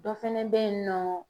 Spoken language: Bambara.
Dɔ fɛnɛ be yen nɔ